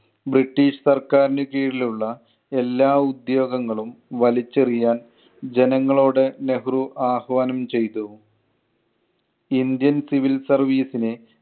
British സർക്കാരിന് കീഴിൽ ഉള്ള എല്ലാ ഉദ്യോഗങ്ങളും വലിച്ചെറിയാൻ ജനങ്ങളോട് നെഹ്‌റു ആഹ്വാനം ചെയ്‌തു. ഇന്ത്യൻ civil service നെ